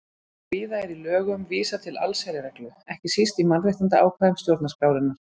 Víða er í lögum vísað til allsherjarreglu, ekki síst í mannréttindaákvæðum stjórnarskrárinnar.